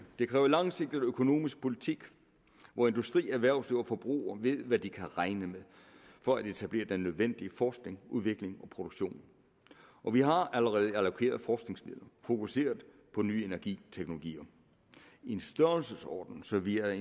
det kræver langsigtet økonomisk politik hvor industri erhvervsliv og forbruger ved hvad de kan regne med for at etablere den nødvendige forskning udvikling og produktion og vi har allerede allokeret forskningsmidlerne fokuseret på nye energiteknologier i en størrelsesorden så vi er